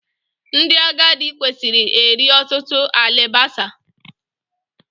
Ndị agadị kwesịrị eri ọtụtụ alibasa